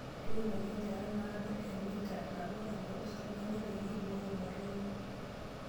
Tuunoki enchata naadoo emita nabo tempolos orbene peyie eibooyo motonyi.